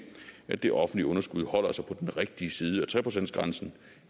at det offentlige underskud holder sig på den rigtige side af tre procentsgrænsen